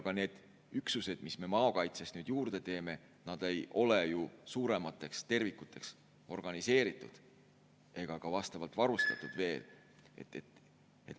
Ka need üksused, mis me maakaitses nüüd juurde teeme, ei ole ju suuremateks tervikuteks organiseeritud ega veel ka vastavalt varustatud.